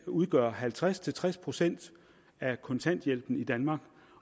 udgør halvtreds til tres procent af kontanthjælpen i danmark